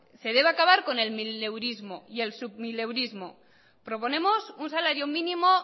se debe acabar con el mileurismo y el submileurismo proponemos un salario mínimo